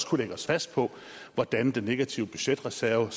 kunne lægge os fast på hvordan den negative budgetreserve